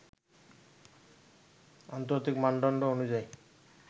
আন্তর্জাতিক মানদণ্ড অনুযায়ী